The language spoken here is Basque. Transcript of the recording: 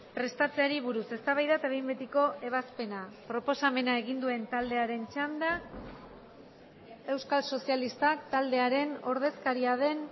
prestatzeari buruz eztabaida eta behin betiko ebazpena proposamena egin duen taldearen txanda euskal sozialistak taldearen ordezkaria den